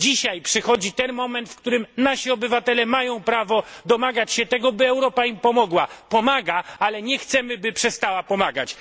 Dzisiaj przychodzi ten moment, w którym nasi obywatele mają prawo domagać się tego, by Europa im pomogła pomaga, ale nie chcemy, by przestała pomagać.